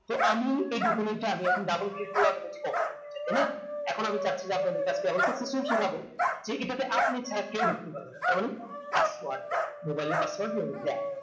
তো আমি এই আমি এখন double click করলাম তাই না এখন আমি চাছি যে আপনার হয় তো কিছুই শিখাবো ঠিক এটাতে আপনি ছাড়া কেও ঢুকতে পারবে না তার মানে password আছে আপনার mobile এ password যেভাবে দেয়